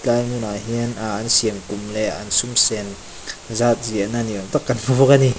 tlai hmunah hian ahh an siamkum leh an sum sen zat ziahna kan hmu bawk a ni.